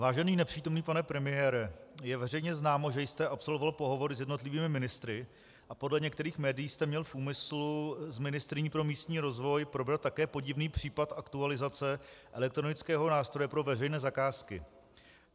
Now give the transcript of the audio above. Vážený nepřítomný pane premiére, je veřejně známo, že jste absolvoval pohovory s jednotlivými ministry a podle některých médií jste měl v úmyslu s ministryní pro místní rozvoj probrat také podivný případ aktualizace elektronického nástroje pro veřejné zakázky.